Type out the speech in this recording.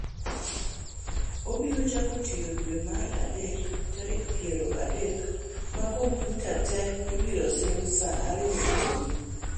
Obiro chako tiyo dwe mar adek tarik piero adek, ma kompyuta te ibiro sim saa ariyo otieno.